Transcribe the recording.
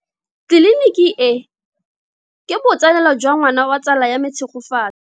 Tleliniki e, ke botsalelo jwa ngwana wa tsala ya me Tshegofatso.